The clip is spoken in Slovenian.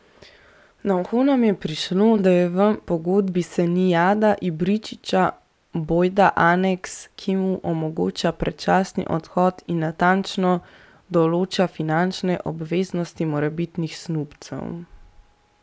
Na uho nam je prišlo, da je v pogodbi Senijada Ibričića bojda aneks, ki mu omogoča predčasni odhod in natančno določa finančne obveznosti morebitnih snubcev.